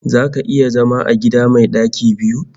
Zaka iya zama a gida mai ɗaki biyu?